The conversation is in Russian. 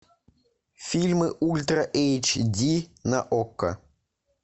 фильмы ультра эйч ди на окко